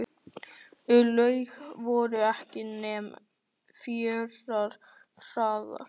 Í lauginni voru ekki nema fjórar hræður.